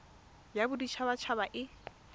ya bodit habat haba e